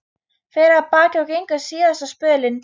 Fer af baki og gengur síðasta spölinn.